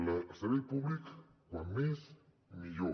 el servei públic com més millor